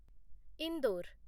Indore